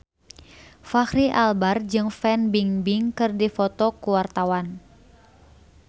Fachri Albar jeung Fan Bingbing keur dipoto ku wartawan